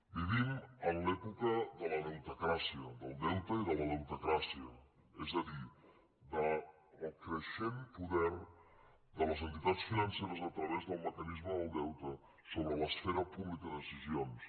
vivim en l’època de la deutecràcia del deute i de la deutecràcia és a dir del creixent poder de les entitats financeres a través del mecanisme del deute sobre l’esfera pública de decisions